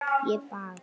Ég bað